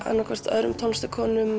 öðrum